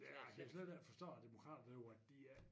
Jeg kan slet ikke forstå at demokraterne derovre at de ik